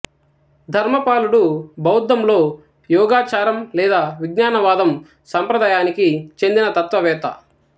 ధర్మపాలుడు బౌద్ధంలో యోగాచారం లేదా విజ్ఞానవాదం సంప్రదాయానికి చెందిన తత్వవేత్త